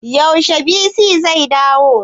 Yaushe bc zai dawo?